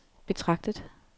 betragtet